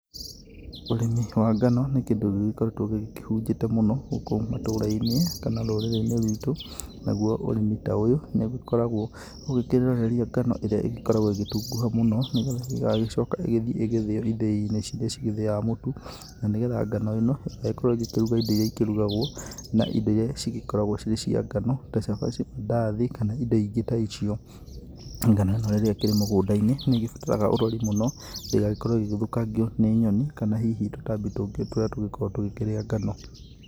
Ũrĩmi wa ngano nĩ kĩndũ gĩgĩkoretwo gĩkĩhunjĩte mũno gũkũ matũra-inĩ kana rũrĩrĩ-inĩ rwitũ naguo ũrĩmi ta ũyũ nĩ ũgĩkoragwo ũgĩkĩroreria ngano ĩrĩa ĩgĩkoragwo ĩgĩtunguha mũno, nĩgetha ĩgagĩcoka ĩgĩthiĩ ĩgĩthĩo ithĩ-inĩ ciria cigĩthĩaga mũtu na nĩgetha ngano ĩno ĩgagĩkorwo ĩgĩkĩruga indo iria ikĩrugagwo na indo iria cikoragwo cirĩ cia ngano, ta cabaci, mandathi kana indo ingĩ ta icio, ngano ĩno ĩrĩa ĩkĩrĩ mũgũnda-inĩ, nĩ ĩgĩbataraga ũrori mũno ndĩgagĩkorwo ĩgĩthũkangio nĩ nyoni, kana hihi tũtambi tũngĩ tũrĩa tũgĩkoragwo tũkĩrĩa ngano.